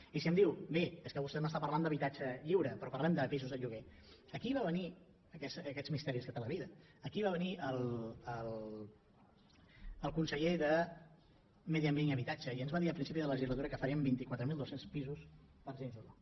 i si em diu bé és que vostè m’està parlant d’habitatge lliure però parlem de pisos de lloguer aquí va venir aquests misteris que té la vida el conseller de medi ambient i habitatge i ens va dir a principi de legislatura que farien vint quatre mil dos cents pisos per a gent jove